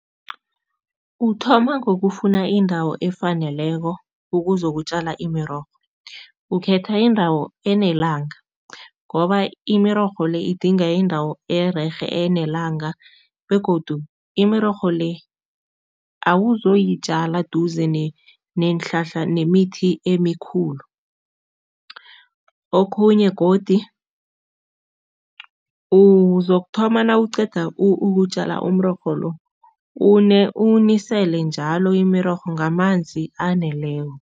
Uthoma ngokufuna indawo efaneleko ukuzokutjala imirorho. Ukhetha indawo enelanga ngoba imirorho le idinga indawo ererhe enelanga begodu imirorho le, awuzoyitjala duze neenhlahla nemithi emikhulu. Okhunye godi, uzokuthoma nawuqeda ukutjala umrorho lo, uwunisele njalo imirorho ngamanzi aneleko.